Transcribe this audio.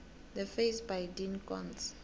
the face by dean koontz